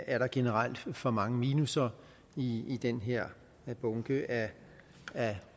er der generelt for mange minusser i den her bunke af